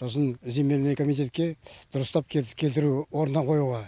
сосын земельный комитетке дұрыстап келтіру орнына қоюға